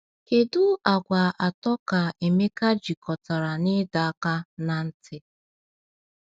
Kedu àgwà atọ ka Emeka jikọtara na ịdọ aka ná ntị?